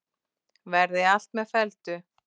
Verði allt með felldu.